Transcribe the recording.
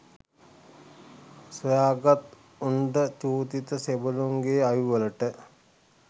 සොයාගත් උණ්ඩ චූදිත සෙබලුන්ගේ අවිවලට